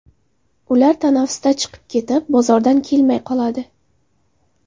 Ular tanaffusda chiqib ketib, bozordan kelmay qoladi.